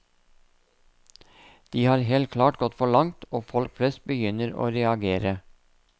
De har helt klart gått for langt, og folk flest begynner å reagere.